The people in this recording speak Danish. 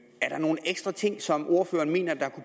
er nogle ekstra ting som ordføreren mener der